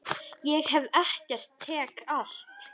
Ég gef ekkert, tek allt.